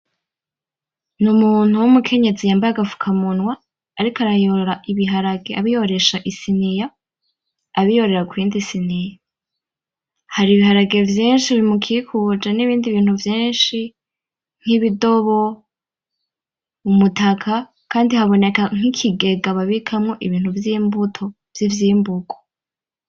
N'umuntu w'umukenyezi yambaye agafuka munwa, ariko arayora ibiharage abiyoresha isiniya abiyorera kuyindi siniya. Hari ibiharage vyinshi bimukikuje nibindi bintu vyinshi nk'ibidobo, umutaka. Kandi haboneka nk'ikigega babikamwo ibintu vy'imbuto vy'ivyimburwa.